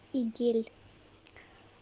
идель